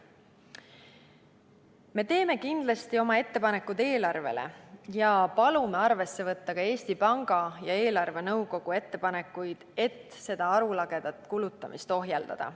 Me teeme kindlasti oma ettepanekud eelarve muutmiseks ja palume arvesse võtta ka Eesti Panga ja eelarvenõukogu ettepanekuid, et seda arulagedat kulutamist ohjeldada.